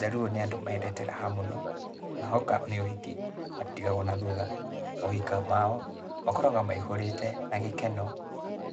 Jaluo nĩ andũ mendete raha mũno, na hoka nĩ ũhiki, matitigagũo na thutha. Mohika mao, makoragũo maihũrĩte na gĩkeno,